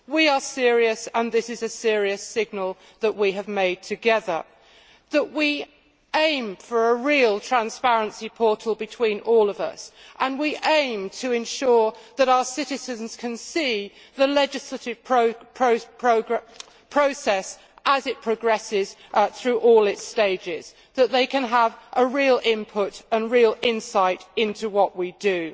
We are serious, and this is a serious signal that we have made together, that we aim for a real transparency portal between all of us, that we aim to ensure that our citizens can see the legislative process as it progresses through all its stages, and that they can have a real input and real insight into what we do.